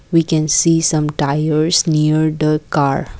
we can see some tires near the car.